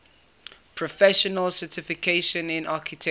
professional certification in architecture